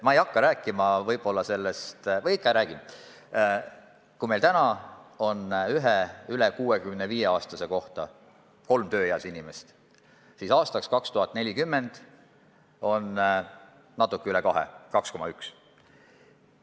Kui meil täna on ühe üle 65-aastase kohta kolm tööealist inimest, siis aastaks 2040 on neid natuke üle kahe, s.o 2,1.